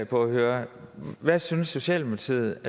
på at høre hvad synes socialdemokratiet